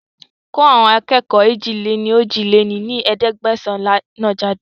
Kó àwọn akẹ́kọ̀ọ́ èjì-lé-ní-ojì lé ní ẹ̀ẹ́dẹ́gbẹ́sán náà jáde